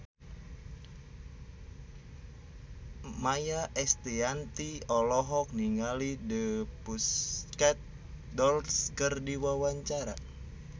Maia Estianty olohok ningali The Pussycat Dolls keur diwawancara